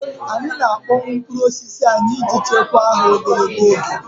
Anyị na-akpọnwụ mkpụrụ osisi anyị iji chekwaa ha ogologo oge.